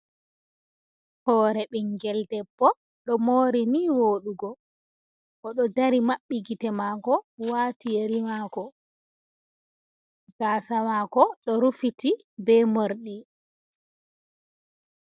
Hore ɓingel ɗeɓɓo ɗo mori ni woɗugo ,oɗo ɗari maɓɓi gite mako wati yeri mako gasa mako ɗo rufiti ɓe morɗi.